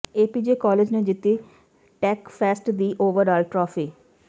APJ college ਨੇ ਜਿੱਤੀ tech fest ਦੀ ਓਵਰਆਲ ਟਰਾਫੀ